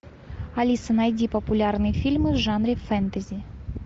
алиса найди популярные фильмы в жанре фэнтези